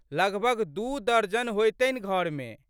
लगभग दू दर्जन होएतनि घरमे।